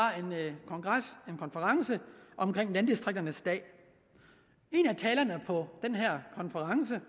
en konference landdistrikternes dag en af talerne på den her konference